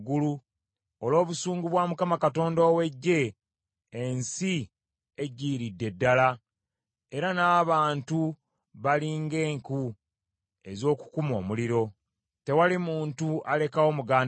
Olw’obusungu bwa Mukama Katonda ow’Eggye ensi eggiiridde ddala, era n’abantu bali ng’enku ez’okukuma omuliro, tewali muntu alekawo muganda we.